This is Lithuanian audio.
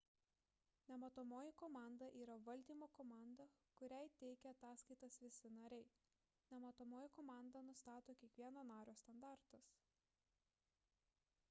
nematomoji komanda yra valdymo komanda kuriai teikia ataskaitas visi nariai nematomoji komanda nustato kiekvieno nario standartus